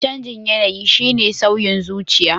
Canjin yanayi shine sauyin zuciya.